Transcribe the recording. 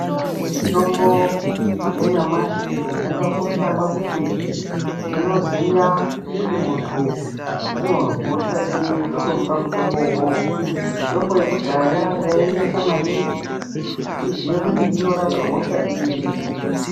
Mitombo yanyamashi yakakosha pakuti tinoziya kuti muntu unozwa hosha iri totomupa mutombowo uwowo, mitombo yekudhaya yainesa maningi kuti tiziye kuti inorapa hosha iri.